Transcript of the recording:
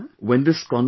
Absolutely sir